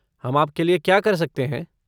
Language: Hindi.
हम आपके लिये क्या कर सकते हैं?